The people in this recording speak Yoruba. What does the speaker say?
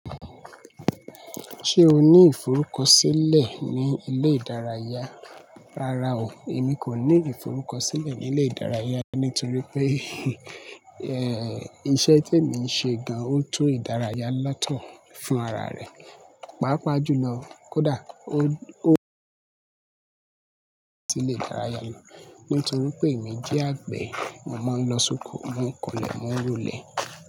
Ṣé o ní ìforúkọsílẹ̀ ní ilé ìdárayá? Rárá o, èmi kò ní ìforúkọsílẹ̀ ní ilé ìdárayá nítorí pé, ẹ, iṣẹ́ tí èmi ń ṣe gan-an ó tún ìdárayá ńlá tán fún ara rẹ̀. Pàápàá jùlọ kódà, ó, tile ju ìdárayá lọ nítorí pé èmi jẹ́ àgbẹ̀. Mo máa ń lọ sóko mò n kọlẹ̀, mò n rolẹ̀